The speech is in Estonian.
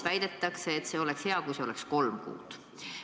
Väidetakse, et ideaalis oleks hea, kui see aeg oleks kolm kuud.